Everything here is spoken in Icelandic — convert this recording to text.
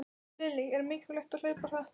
Lillý: Er mikilvægt að hlaupa hratt?